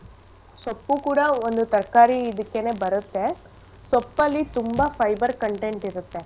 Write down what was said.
ಸೊಪ್ಪು ಕೂಡ ಒಂದು ತರ್ಕಾರಿ ಇದಕ್ಕೇನೆ ಬರತ್ತೆ ಸೊಪ್ಪಲ್ಲಿ ತುಂಬಾ fiber content ಇರತ್ತೆ.